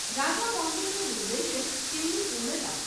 રાજામૌલીનું નિર્દેશન, તેમની પૂર્ણતા.